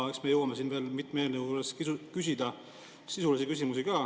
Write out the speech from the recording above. Eks me jõuame veel mitme eelnõu juures küsida ka sisulisi küsimusi.